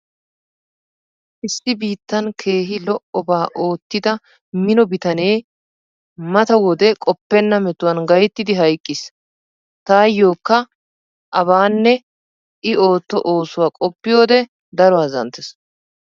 Issi biittan keehi lo'obaa oottida mino bitanee mata wode qoppenna metuwan gayttidi hayqqiis. Taayyokka abaanne i ootto oosuwa qoppiyode daro azzanttees.